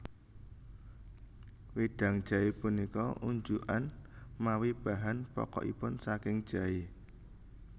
Wédang jaé punika unjukan mawi bahan pokokipun saking jaé